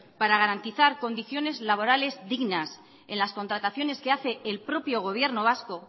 para garantizar condiciones laborales dignas en las contrataciones que hace el propio gobierno vasco